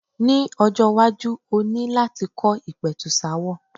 Ní ọjọ́-iwájú o ní láti kọ́ ìpẹ̀tùsááwọ̀.